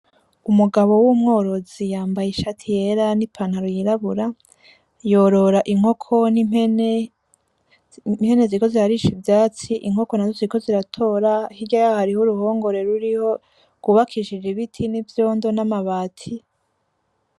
Umugabo w'umworozi yambaye ishati yera n'ipantaro yirabura yorora inkoko n'impene. Impene ziriko zirarisha ivyatsi, inkoko nazo ziriko ziratora hirya yaho hariho uruhongore ruriho rwubakishije ibiti, n'ivyondo, n'amabati.